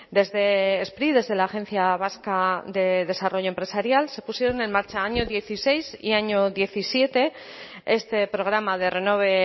desde spri desde la agencia vasca de desarrollo empresarial se pusieron en marcha año dieciséis y año diecisiete este programa de renove